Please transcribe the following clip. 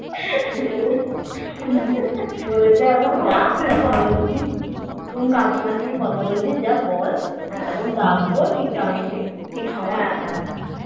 বলেছে এখন রাখ বলছি তুই কাকিমার সঙ্গে কথা বলছিস যা বল যখন ডাকব ঠিক time এ ঠিক সময়ে